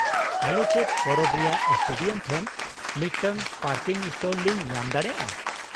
ᱟᱞᱮ ᱪᱮᱫ ᱯᱚᱨᱚᱵᱽ ᱨᱮᱭᱟᱜ ᱥᱴᱮᱰᱤᱭᱟᱢ ᱴᱷᱮᱱ ᱢᱤᱫᱴᱟᱝ ᱯᱟᱨᱠᱤᱝ ᱥᱞᱚᱴ ᱞᱤᱝ ᱧᱟᱢ ᱫᱟᱲᱮᱭᱟᱜᱼᱟ ?